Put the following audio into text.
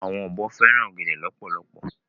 Awòn òbò fèrán ògèdè lòpòlòpò